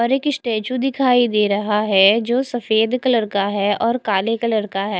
और एक स्टेचू दिखाई दे रहा है जो सफेद का है काले कलर का है।